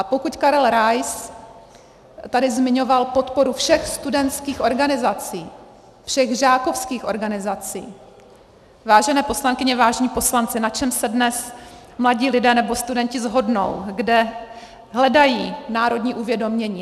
A pokud Karel Rais tady zmiňoval podporu všech studentských organizací, všech žákovských organizací, vážené poslankyně, vážení poslanci, na čem se dnes mladí lidé nebo studenti shodnou, kde hledají národní uvědomění?